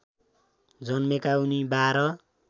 जन्मेका उनी १२